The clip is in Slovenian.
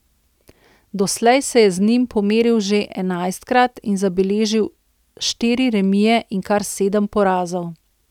Doslej se je z njim pomeril že enajstkrat in zabeležil štiri remije in kar sedem porazov.